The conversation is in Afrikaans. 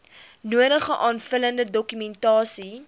nodige aanvullende dokumentasie